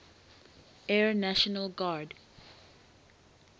air national guard